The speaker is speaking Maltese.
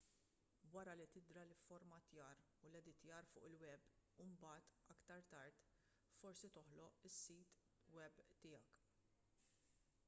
wara li tidra l-ifformattjar u l-editjar fuq il-web imbagħad aktar tard forsi toħloq is-sit web tiegħek